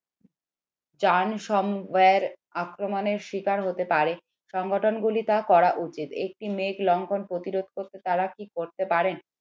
আক্রমণের শিকার হতে পারে সংগঠনগুলির তা করা উচিত একটি মেঘ লক্ষণ প্রতিবরোধ করতে তারা আর কি করতে পারেন